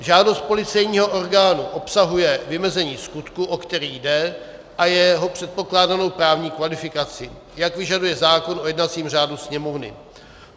Žádost policejního orgánu obsahuje vymezení skutku, o který jde, a jeho předpokládanou právní kvalifikaci, jak vyžaduje zákon o jednacím řádu Sněmovny.